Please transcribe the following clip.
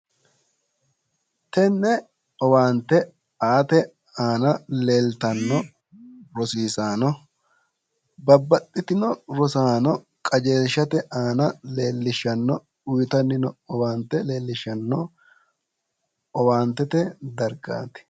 Tenne owaante aate aana leeltanno rosiisaano, babbaxxitino rosaano qajeelshate aana leellishshano uytanni noo owaante leellishshano owaantete dargaati